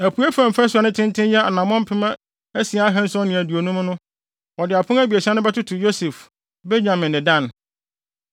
Apuei fam fasu a ne tenten yɛ anammɔn mpem asia ahanson ne aduonum (6,750) no, wɔde apon abiɛsa bɛtoto Yosef, Benyamin ne Dan.